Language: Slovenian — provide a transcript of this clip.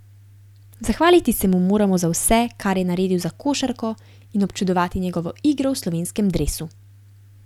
Zahvaliti se mu moramo za vse, kar je naredil za košarko in občudovati njegovo igro v slovenskem dresu.